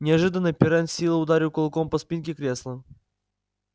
неожиданно пиренн с силой ударил кулаком по спинке кресла